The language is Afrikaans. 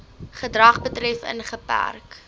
gedrag betref ingeperk